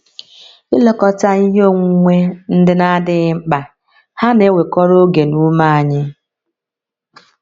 Ilekọta ihe onwunwe ndị na - adịghị mkpa hà na - ewekọrọ oge na ume anyị?